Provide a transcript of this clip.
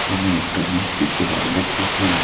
আমি একটা মিষ্টির দোকান দেখতেছি।